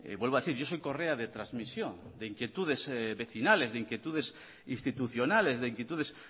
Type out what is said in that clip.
vuelvo a decir yo soy correa de transmisión de inquietudes vecinales de inquietudes institucionales de inquietudes